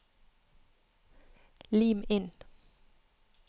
Lim inn